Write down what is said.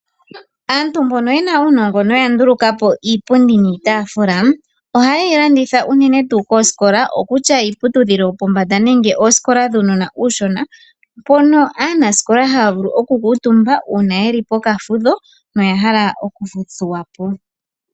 Aantu mbono yena uunongo noya nduluka po iipundi niitafula, ohaye yi landitha unene tuu koosokola, okutya iiputudhilo yopombanda nenge oosikola dhuunona uushona, mpono aanasikola haya vulu oku kuutumba uuna yeli pokafudho noya hala oku thuwa po.